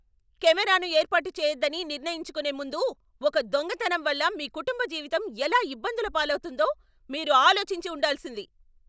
కెమెరాను ఏర్పాటు చేయొద్దని నిర్ణయించుకునే ముందు ఒక దొంగతనం వల్ల మీ కుటుంబ జీవితం ఎలా ఇబ్బందుల పాలవుతుందో మీరు ఆలోచించి ఉండాల్సింది.